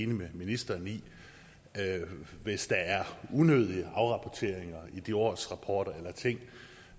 med ministeren i at vi hvis der er unødige afrapporteringer i de her årsrapporter eller ting